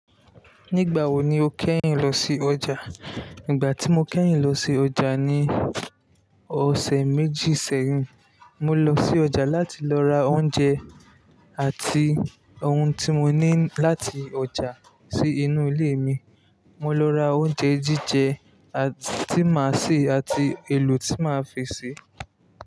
Nígbà wo ni o kẹ́yìn lọ sí ọjà? Nígbà tí mo kẹ́yìn lọ sí ọjà ni ọ̀sẹ̀ méjì sẹ́yìn. Mo lọ sí ọjà láti lọ ra oúnjẹ àti ohun tí mo ní láti ọjà sí inú ilé mi. Mo lọ ra oúnjẹ jíjẹ tí màá se àti èlò tí màá fi sè é.